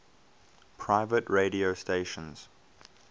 private radio stations